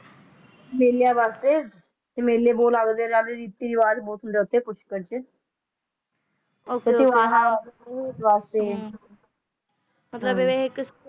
ਤੇ ਹੋਰਾਂ ਵੱਲੋਂ ਰਵਾਇਤੀ ਵਾਲੀ ਕੋਠੀ ਅੱਗੇ ਖੁਦਕੁਸ਼ੀ ਅਬਰਾਹਾਮ ਵਾਸਤੇ